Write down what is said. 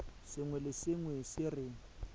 sengwe le sengwe se re